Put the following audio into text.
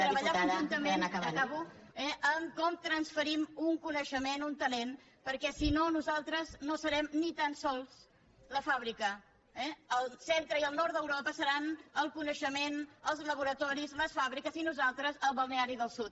treballar conjuntament acabo en com transferim un coneixement un talent perquè si no nosaltres no serem ni tan sols la fàbrica eh el centre i el nord d’europa seran el coneixement els laboratoris les fàbriques i nosaltres el balneari del sud